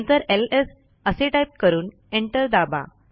नंतर एलएस असे टाईप करून एंटर दाबा